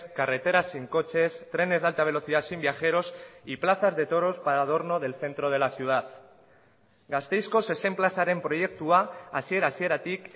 carreteras sin coches trenes de alta velocidad sin viajeros y plazas de toros para adorno del centro de la ciudad gasteizko zezen plazaren proiektua hasiera hasieratik